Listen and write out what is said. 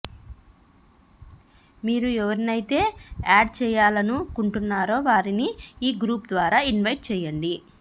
మీరు ఎవరినైతే యాడ్ చేయాలనుకుంటున్నారో వారిని ఈ గ్రూపు ద్వారా ఇన్వైట్ చేయండి